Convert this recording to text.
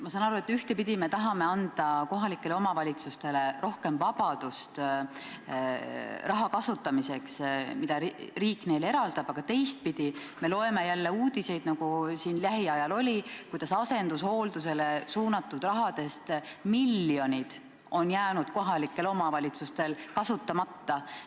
Ma saan aru, et ühtepidi me tahame anda kohalikele omavalitsustele rohkem vabadust selle raha kasutamiseks, mis riik neile eraldab, aga teistpidi me loeme uudiseid, nagu lähiajal oli, et asendushoolduseks suunatud rahast miljonid on jäänud kohalikel omavalitsustel kasutamata.